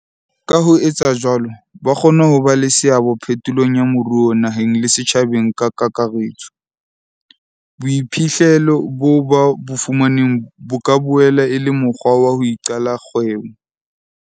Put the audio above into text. Ka ho etsa jwalo, ba kgona ho ba le seabo phetolong ya moruo naheng le setjhabeng ka kakaretso. Boiphihlelo boo ba bo fumaneng bo ka boela e le mokgwa wa ho iqalla dikgwebo.